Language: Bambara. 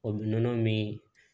O nɔnɔ min